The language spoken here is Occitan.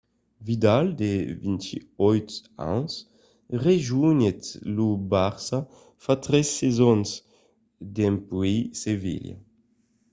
vidal de 28 ans rejonhèt lo barça fa tres sasons dempuèi sevilla